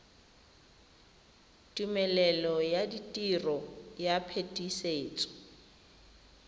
tumelelo ya tiro ya phetisetso